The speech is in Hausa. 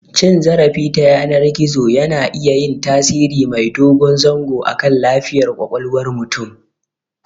Cin zarafi ta yanar gizo yana iya yin tasiri mai dogo zango akan lafiyar ƙwaƙwalwar mutum.